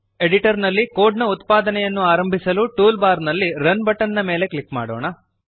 editor ನಲ್ಲಿ code ನ ಉತ್ಪಾದನೆಯನ್ನು ಆರಂಬಿಸಲು ಟೂಲ್ ಬಾರ್ ನಲ್ಲಿ ರನ್ ಬಟನ್ ಮೇಲೆ ಕ್ಲಿಕ್ ಮಾಡೋಣ